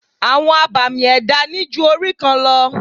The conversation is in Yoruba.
Àwọn abàmì ẹ̀dá ní ju orí kan lọ.